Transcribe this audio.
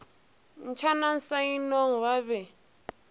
ntšhana sa inong ba be